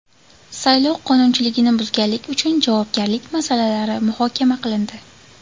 Saylov qonunchiligini buzganlik uchun javobgarlik masalalari muhokama qilindi.